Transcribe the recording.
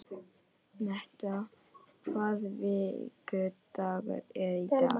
Metta, hvaða vikudagur er í dag?